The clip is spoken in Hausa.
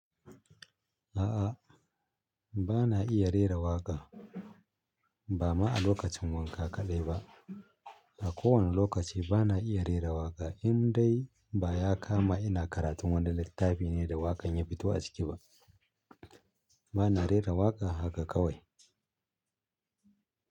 A'a, ba na iya rera waƙa. Ba ma a lokacin wanka kaɗai ba. A kowane lokaci ba na iya rera waƙa in dai ba ya kama ina karatun wani littafi ne da waƙan ya fito a ciki ba. Ba na rera waƙa haka kawai.